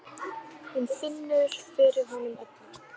Hún finnur fyrir honum öllum.